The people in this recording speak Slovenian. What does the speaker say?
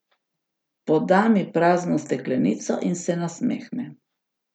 Poda mi prazno steklenico in se nasmehne.